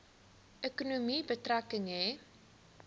ekonomie betrekking hê